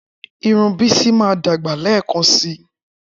Irun Bisi máa dàgbà lẹ́ẹ̀kan síi.